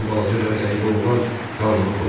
Bu balaca və qəribə oğlan qanunu pozub.